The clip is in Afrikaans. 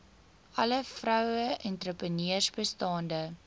alle vroueentrepreneurs bestaande